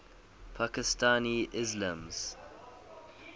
pakistani ismailis